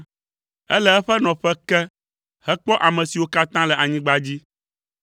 Ele eƒe nɔƒe ke hekpɔ ame siwo katã le anyigba dzi,